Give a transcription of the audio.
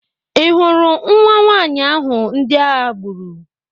Ị hụrụ nwa nwanyị ahụ ndị agha gburu?